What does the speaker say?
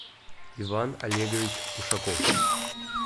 иван олегович ушаков